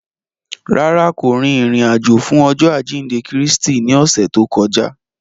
Rárá, ko rin irin-ajo fun Ọjọ ajinde Kristi ni ọsẹ to kọja.